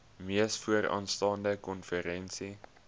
mees vooraanstaande konferensie